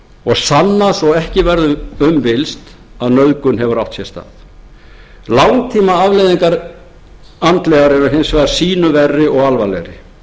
og sanna svo ekki verður um villst að nauðgun hefur átt sér stað langtímaafleiðingar andlegar eru hins vegar sýnu verri og alvarlegri